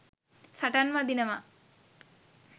සටන් වදිනවා.